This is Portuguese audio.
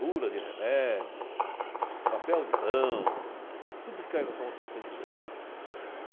Bula de remédio, papel de pão, tudo o que cair na sua mão você tem que ler.